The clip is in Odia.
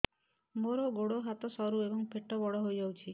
ମୋର ଗୋଡ ହାତ ସରୁ ଏବଂ ପେଟ ବଡ଼ ହୋଇଯାଇଛି